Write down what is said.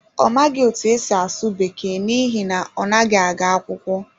Ọ maghị otú e si asụ Bekee n’ihi na ọ naghị aga akwụkwọ.